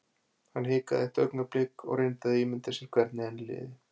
Hann hikaði eitt augnablik og reyndi að ímynda sér hvernig henni liði.